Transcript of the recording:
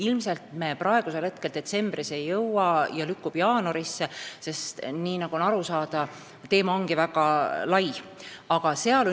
Ilmselt me sellega detsembris sinna ei jõua ja see lükkub jaanuarisse, sest teema on väga lai, nagu aru saada on.